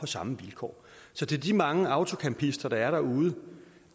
samme vilkår så til de mange autocampister der er derude